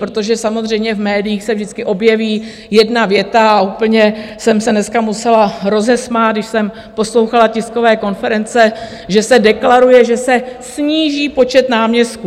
Protože samozřejmě v médiích se vždycky objeví jedna věta a úplně jsem se dneska musela rozesmát, když jsem poslouchala tiskové konference, že se deklaruje, že se sníží počet náměstků!